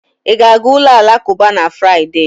Ị ga-aga ụlọ alakụba na Fraịde?